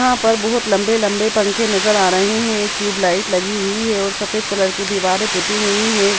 यहाँ पर बहोत लंबे-लंबे पंखे नजर आ रहे है एक ट्यूब लाइट लगी हुई है और सफेद कलर की दीवारें पुती हुई है।